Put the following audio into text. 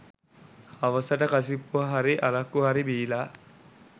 හවසට කසිප්පු හරි අරක්කු හරි බීලා